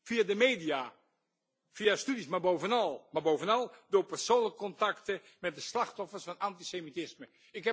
Via de media, via studies, maar bovenal door persoonlijke contacten met de slachtoffers van antisemitisme.